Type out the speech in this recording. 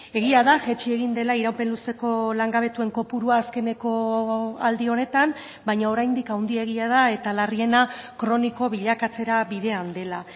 egia da jaitsi egin dela iraupen luzeko langabetuen kopurua azkeneko aldi honetan baina oraindik handiegia da eta larriena kroniko bilakatzera bidean dela